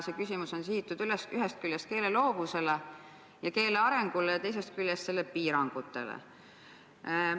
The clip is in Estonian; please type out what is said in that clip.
See küsimus on sihitud ühest küljest keele loovusele ja keele arengule ning teisest küljest selle piirangutele.